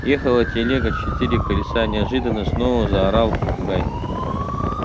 ехала телега четыре колеса неожиданно снова заорал попугай